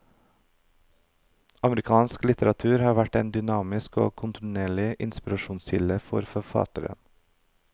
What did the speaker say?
Amerikansk litteratur har vært en dynamisk og kontinuerlig inspirasjonskilde for forfatteren.